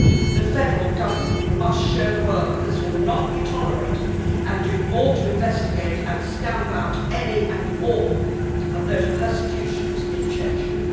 The federal government must show the world that this will not be tolerated and do more to investigate and stamp out any and all of those persecutions in Chechnya.